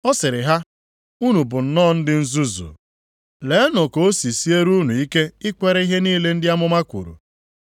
Ọ sịrị ha, “Unu bụ nnọọ ndị nzuzu! + 24:25 Ya bụ, ndị na-enweghị uche Leenụ ka o si siere unu ike ikwere ihe niile ndị amụma kwuru.